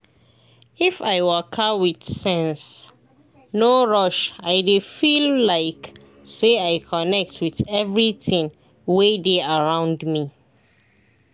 if i waka with sense no rush i dey feel like say i connect with everything wey dey around me.